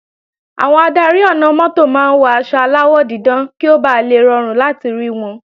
Àwọn adarí ọ̀nà-mọ́tò máa ń wọ aṣọ aláwọ̀ dídán kí ó bà le rọrùn láti rí wọn